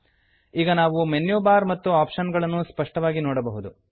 ಈಗ ನಾವು menu bar ಮತ್ತು ಆಪ್ಷನ್ ಗಳನ್ನು ಸ್ಪಷ್ಟವಾಗಿ ನೋಡಬಹುದು